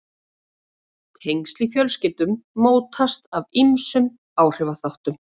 Tengsl í fjölskyldum mótast af ýmsum áhrifaþáttum.